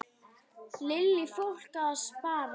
Lillý: Fólk að spara?